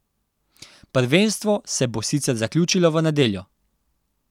Prvenstvo se bo sicer zaključilo v nedeljo.